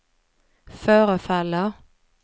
förefaller